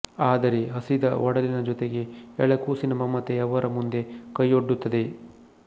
ಆದರೆ ಹಸಿದ ಒಡಲಿನ ಜೊತೆಗೆ ಎಳೆ ಕೂಸಿನ ಮಮತೆ ಅವರ ಮುಂದೆ ಕೈಯೊಡ್ಡುತ್ತದೆ